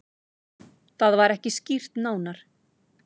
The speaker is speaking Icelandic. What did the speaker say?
Það var ekki skýrt nánar.